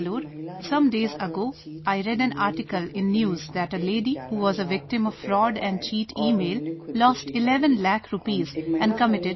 Some days ago, I read in a news article that a lady became a victim of fraud and cheat email, lost 11 lakh rupees and committed suicide